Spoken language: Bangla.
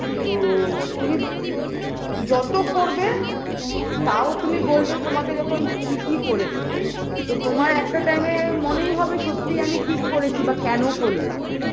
তো তুমি যত করবে তাও তুমি বলবে তোমাকে যখন যে তুমি কী করেছো তো তোমার একটা time -এ মনেই হবে সত্যি আমি কি করেছি বা কেন করলাম